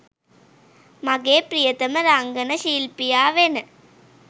මගේ ප්‍රියතම රංගන ශිල්පියා වෙන